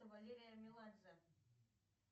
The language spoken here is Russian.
валерия меладзе